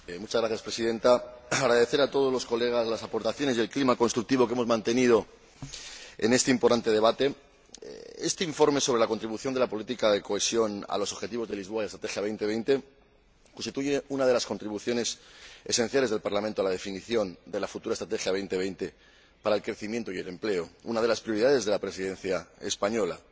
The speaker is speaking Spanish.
Señora Presidenta, quiero agradecer a todos los colegas las aportaciones y el clima constructivo que hemos mantenido en este importante debate. Este informe sobre la contribución de la política de cohesión a los objetivos de Lisboa y la Estrategia Europa 2020 constituye una de las contribuciones esenciales del Parlamento a la definición de la futura Estrategia Europa 2020 para el crecimiento y el empleo, una de las prioridades de la Presidencia española.